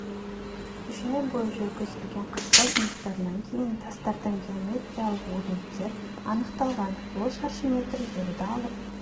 үш ай бойы жүргізілген қазба жұмыстарынан кейін тастардан геомертиялық өрнектер анықталған ол шаршы метр жерді алып